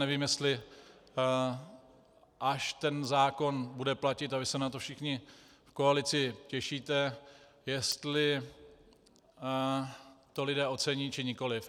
Nevím, jestli až ten zákon bude platit, a vy se na to všichni v koalici těšíte, jestli to lidé ocení, či nikoliv.